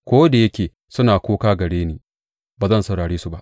Ko da yake suna kuka gare ni, ba zan saurare su ba.